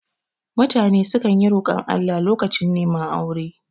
Mutane sukan yi rokon Allah lokacin reman aure